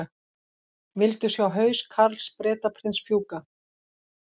Vildu sjá haus Karls Bretaprins fjúka